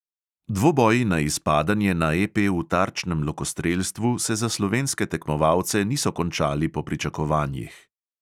Dvoboji na izpadanje na EP v tarčnem lokostrelstvu se za slovenske tekmovalce niso končali po pričakovanjih.